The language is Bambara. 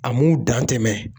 A m'u dan tɛmɛ